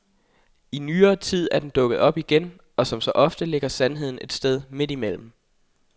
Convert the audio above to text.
I nyere tid er den dukket op igen, og som så ofte ligger sandheden et sted midt imellem.